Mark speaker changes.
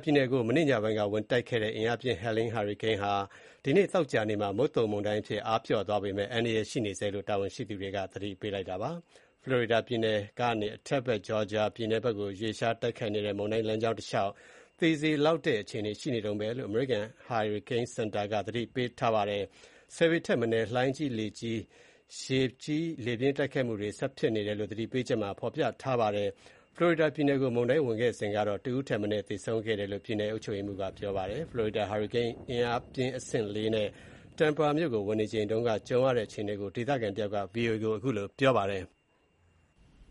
Speaker 1: ပြည်နယ်ကို ကြာသပတေးနေ့ညပိုင်းက ဝင်ရောက်တိုက်ခတ်ခဲ့တဲ့ အင်အားပြင်း Helene ဟာရီကိန်းမုန်တိုင်းဟာ ဒီနေ့သောကြာနေ့မှာ မုတ်သုန်မုန်တိုင်းအဖြစ် အားလျော့သွားပေမဲ့ အန္တရာယ်ရှိနေဆဲဖြစ်တယ်လို့ တာဝန်ရှိသူတွေ သတိပေးထားပါတယ်။ Florida ပြည်နယ်ကနေ အထက်ဘက် Georgia ပြည်နယ်ကိုရွေ့လျား တိုက်ခတ်နေတဲ့ မုန်တိုင်း လမ်းကြောင်းတလျှောက် သေစေနိုင်လောက်တဲ့ အခြေအနေရှိနေတုန်းပဲလို့ အမေရိကန်အမျိုးသားဟာရီကိန်းစင်တာက သတိပေးထားပါတယ်။ ၁၀ ပေထက်မနည်း လှိုင်းကြီး၊ ရေကြီး၊ လေပြင်းတိုက်ခတ်မှုတွေ ဆက်ဖြစ်နေတယ်လို့ သတိပေးချက်မှာ ဖော်ပြထားပါတယ်။ Florida ပြည်နယ်ကို မုန်တိုင်းဝင်ခဲ့စဉ်က ၁ ဦိးထက်မနည်း သေဆုံးခဲ့တယ်လို့ ပြည်နယ်အုပ်ချုပ်ရေးမှူးက ပြောပါတယ်။ Florida ဟာရီကိန်း အင်အားပြင်း အဆင့် ၄ နဲ့ Tampa မြို့ကို ဝင်နေချိန်က ကြုံရတဲ့ အခြေအနေကို ဒေသခံတယောက်က VOA ကို ပြောပါတယ်။